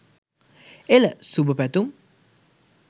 එල ! සුභ පැතුම්!